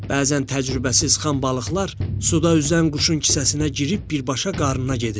Bəzən təcrübəsiz xam balıqlar suda üzən quşun kisəsinə girib birbaşa qarnına gedirlər.